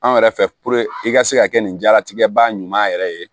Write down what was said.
Anw yɛrɛ fɛ i ka se ka kɛ nin jalatigɛ ba ɲuman yɛrɛ ye